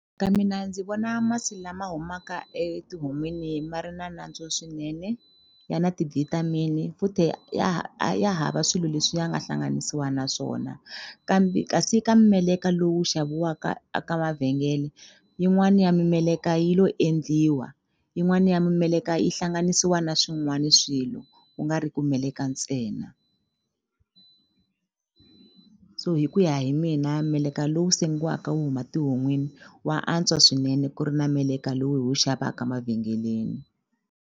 Ka mina ndzi vona masi lama humaka etihon'wini ma ri na nantswo swinene ya na ti-vitamin futhi a ya hava swilo leswi ya nga hlanganisiwa na swona kambe kasi ka meleka lowu xaviwaka a ka mavhengele yin'wani ya mimeleka yi lo endliwa yin'wani ya mimeleka yi hlanganisiwa na swin'wani swilo ku nga ri ku meleka ntsena so hi ku ya hi mina meleka lowu sengiwaka wu huma tihon'wini wa antswa swinene ku ri na meleka lowu hi wu xavaka mavhengeleni.